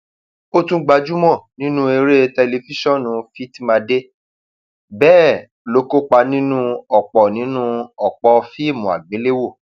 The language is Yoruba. ó tún gbajúmọ nínú eré tẹlifíṣàn fitmadé bẹẹ ló kópa nínú ọpọ nínú ọpọ fíìmù àgbéléwò